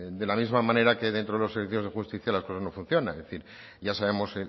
de la misma manera que dentro de los servicios de justicia las cosas no funcionan es decir ya sabemos